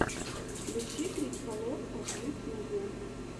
включи крипто лорка в ютюбе